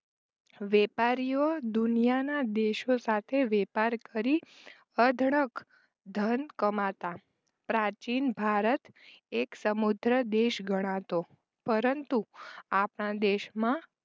વેપારીઓ દુનિયાના દેશો સાથે વેપાર કરી અઢળક ધન કમાતા. પ્રાચીન ભારત એક સમુદ્ધ દેશ ગણાતો પરંતુ આપણા દેશમાં